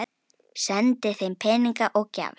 Sendi þeim peninga og gjafir.